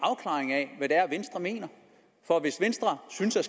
er er venstre mener for hvis venstre synes at